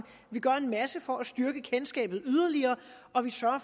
vi gør en masse for at styrke kendskabet yderligere og vi sørger